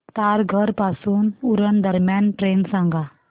तारघर पासून उरण दरम्यान ट्रेन सांगा